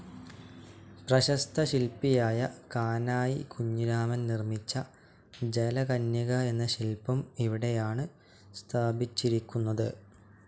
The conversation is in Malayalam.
പ്രശസ്ത ശില്പിയായ കാനായി കുഞ്ഞിരാമൻ നിർമ്മിച്ച ജലകന്യക എന്ന ശില്പം ഇവിടെയാണ് സ്ഥാപിച്ചിരിക്കുന്നത്.